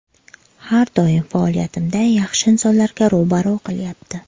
Har doim faoliyatimda yaxshi insonlarga ro‘baro‘ qilyapti.